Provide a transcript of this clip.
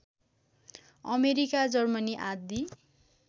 America Germany आदि